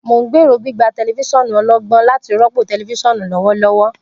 Mo n gbero gbigba tẹlifisiọnu ọlọgbọn lati rọpo tẹlifisiọnu lọwọlọwọ.